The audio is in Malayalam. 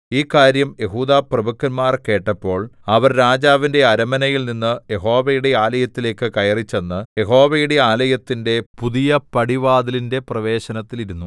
ഈ കാര്യം യെഹൂദാപ്രഭുക്കന്മാർ കേട്ടപ്പോൾ അവർ രാജാവിന്റെ അരമനയിൽ നിന്ന് യഹോവയുടെ ആലയത്തിലേക്കു കയറിച്ചെന്ന് യഹോവയുടെ ആലയത്തിന്റെ പുതിയ പടിവാതിലിന്റെ പ്രവേശനത്തിൽ ഇരുന്നു